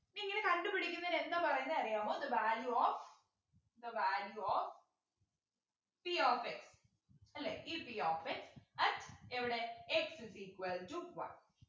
ഇങ്ങനെ കണ്ടുപിടിക്കുന്നതിന് എന്താ പറയുന്നേ അറിയാമോ the value of the value of p of x അല്ലെ ഈ p of x at എവിടെ x is equal to one